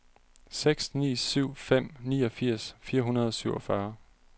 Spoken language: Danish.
seks ni syv fem niogfirs fire hundrede og syvogfyrre